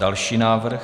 Další návrh.